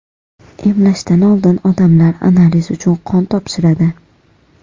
Emlashdan oldin odamlar analiz uchun qon topshiradi.